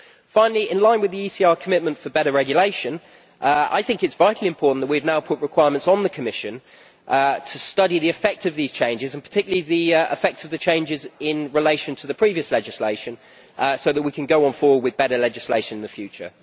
Finally, in line with the ECR commitment for better regulation, I think it is vitally important that we have now put requirements on the Commission to study the effect of these changes, and particularly the effect of the changes in relation to the previous legislation so that we can go forward with better legislation in the future.